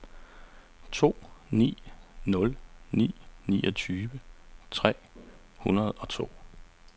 to ni nul ni niogtyve tre hundrede og to